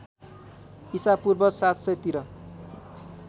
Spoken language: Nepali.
इसापूर्व ७०० तिर